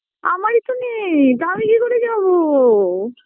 আমারি তো নেই তো আমি কি করে যাব